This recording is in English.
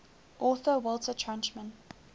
author walter tuchman